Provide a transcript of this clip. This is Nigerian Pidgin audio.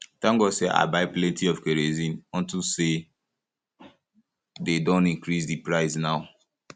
thank god say i buy plenty of kerosene unto say dey don increase the price um now